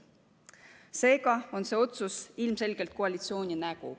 Seega on see otsus ilmselgelt koalitsiooni nägu.